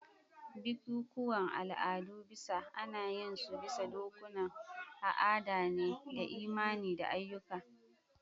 Bikikuwan al'adu bisa ana yin su bisa dokokunan a'ada ne da imani da ayyuka.